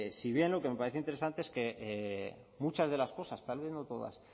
si bien lo que me parece interesante es que muchas de las cosas tal vez no todas